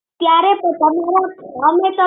ત્યારે